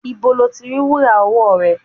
Ibo ni o ti rí wúrà ọwọ́ rẹ?